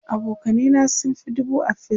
abokanai na sun Fi dubu a Facebook